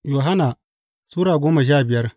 Yohanna Sura goma sha biyar